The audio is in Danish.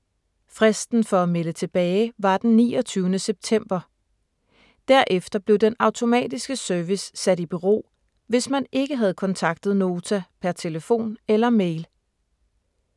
Fristen for at melde tilbage var den 29. september. Derefter blev den automatiske service sat i bero, hvis man ikke havde kontaktet Nota per telefon eller mail.